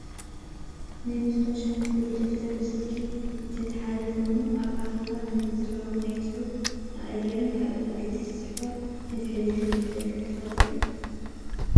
ናይ ማስታወሻ መትሓዚ ደፍተር ብስልኪ ዝተታሓዘ ኮይኑ ኣብ ኣኬባ ዝዝረቡ ናብ ፅሑፍ መቀየርን ካልኦት ኣገደስቲ ፅሑፋት መትሓዚ ከም ዝጠቅመና ትፈልጡ ዶ ?